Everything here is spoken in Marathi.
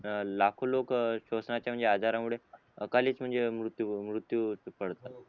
लाखो लोक शोषणाच्या आजारामुळे अकाली म्हणजे मृत्यू हुन मृत्यू पडतात